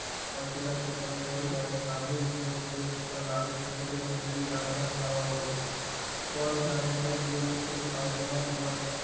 પણ પેલા છોકરા એ તો જાણે સાંભળ્યું જ નહીં અને દેવ શંકર લાડુ ને કોરે ખસેડી દાળ ભાત ખાવા વળ્યો કોણ જાણે કેમ દેવ શંકર ની બાજુ માં પેલા